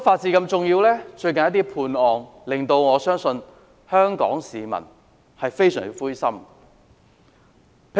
最近一些案件的判刑，我相信令香港市民非常灰心。